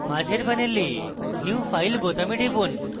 মাঝের panel new file বোতামে টিপুন